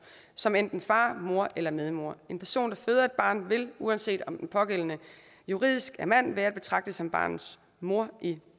som enten far mor eller medmor en person der føder et barn vil uanset om den pågældende juridisk en mand være at betragte som barnets mor i